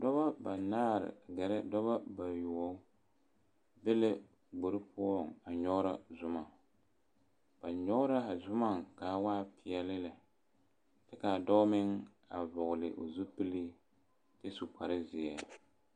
Dɔba banaare gerɛ dɔba bayoɔbo be la gbori poɔŋ a nyɔgero zuma, ba nyɔge la a zuma kaa waa pɛɛle lɛ kyɛ kaa dɔɔ meŋ vɔgeli o zupili kyɛ su kpare zeɛ